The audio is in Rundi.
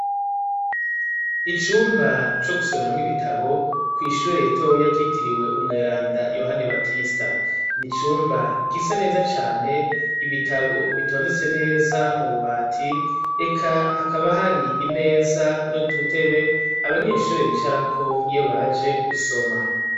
Icumba co gusomeramwo ibitabo kw'ishure ritoya ryitiriwe umweranda Yohani Batista. N'icumba gisa neza cane, ibitabo bitondetse neza mu bubati eka hakaba hari imeza n'udutebe abanyeshure bicarako iyo baje gusoma.